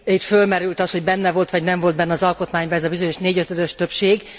Itt fölmerült az, hogy benne volt vagy nem volt benne az alkotmányban ez a bizonyos négyötödös többség.